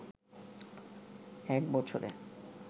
এক বছরে